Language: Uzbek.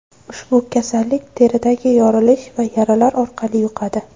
Ushbu kasallik teridagi yorilish va yaralar orqali yuqadi.